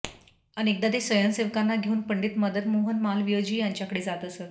अनेकदा ते स्वयंसेवकांना घेऊन पंडित मदनमोहन मालवीयजी यांच्याकडे जात असत